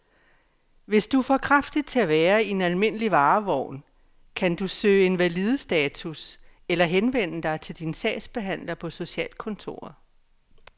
Hvis du er for kraftig til at være i en almindelig varevogn, kan du kan søge invalidestatus eller henvende dig til din sagsbehandler på socialkontoret.